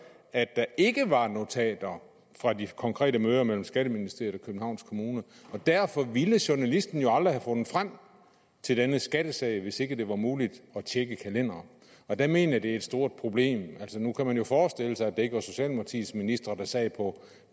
at der ikke var notater fra de konkrete møder mellem skatteministeriet og københavns kommune og derfor ville journalisten jo aldrig have fundet frem til denne skattesag hvis ikke det var muligt at tjekke kalendere der mener jeg det er et stort problem nu kunne man jo forestille sig at det ikke var socialdemokratiets ministre der sad på